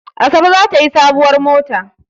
Asabe za ta yi sabuwar mota.